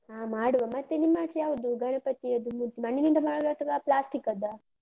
ಹಾ ಮಾಡುವ. ಮತ್ತೆ ನಿಮ್ಮಾಚೆ ಯಾವ್ದು ಗಣಪತಿಯದ್ದು ಮೂರ್ತಿ? ಮಣ್ಣಿನಿಂದ ಮಾಡುದಾ ಅಥವಾ plastic ಅದ್ದಾ?